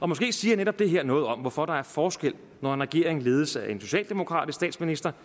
måske siger netop det her noget om hvorfor der er forskel når en regering ledes af en socialdemokratisk statsminister